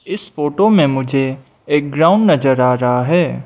इस फोटो मे मुझे एक ग्राउंड नज़र आ रहा है।